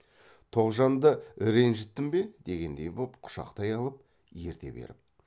тоғжанды ренжіттім бе дегендей боп құшақтай алып ерте беріп